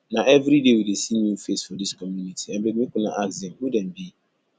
na everyday we dey see new face for dis community abeg make una ask dem who dem be